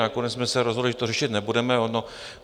Nakonec jsme se rozhodli, že to řešit nebudeme.